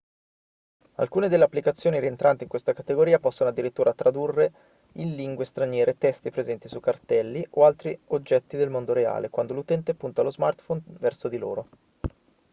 alcune delle applicazioni rientranti in questa categoria possono addirittura tradurre in lingue straniere testi presenti su cartelli o altri oggetti del mondo reale quando l'utente punta lo smartphone verso di loro